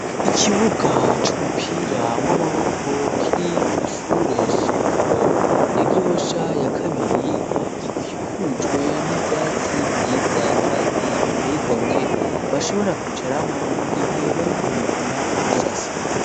Ikibuga cy'umupira w'amaboko kiri ku ishure shingiro ya gihosha ya kabiri giikujwe n'ibyatsi byiza kandi biteye igomwe bashobora kwicaramo mu gihe bariko bivuna umusase.